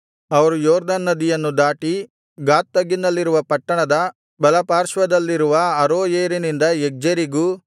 ಅವರು ಯೊರ್ದನ್ ನದಿಯನ್ನು ದಾಟಿ ಗಾದ್ ತಗ್ಗಿನಲ್ಲಿರುವ ಪಟ್ಟಣದ ಬಲಪಾರ್ಶ್ವದಲ್ಲಿರುವ ಅರೋಯೇರಿನಿಂದ ಯಗ್ಜೇರಿಗೂ